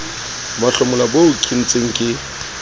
mahlomola boo ke ntseng ke